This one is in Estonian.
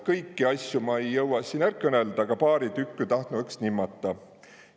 Kõiki asjo ei jõvva ma siin är kõnelda, a paari tükku tahtnu õks nimmeta.